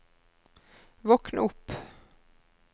våkn opp